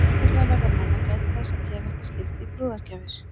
Sérstaklega verða menn að gæta þess að gefa ekki slíkt í brúðargjafir.